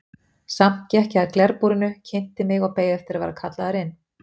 Samt gekk ég að glerbúrinu, kynnti mig og beið eftir að vera kallaður inn.